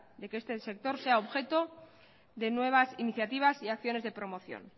de que este sector sea objeto de nuevas iniciativas y acciones de promoción